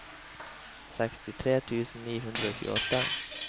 sekstitre tusen ni hundre og tjueåtte